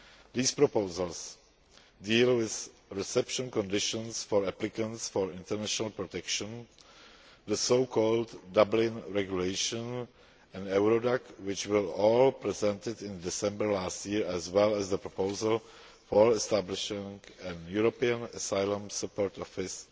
These proposals deal with reception conditions for applicants for international protection, the so called Dublin regulation, and Eurodac, which were all presented in December last year, as well as the proposal for establishing a European Asylum Support Office,